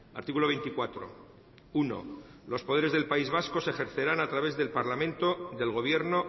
artículo veinticuatro uno los poderes del país vasco se ejercerán a través del parlamento del gobierno